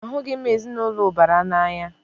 Ahụghị m ezinaụlọ ụbara n'anya.